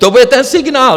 To bude ten signál!